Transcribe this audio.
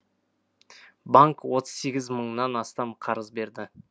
банк отыз сегіз мыңнан астам қарыз берді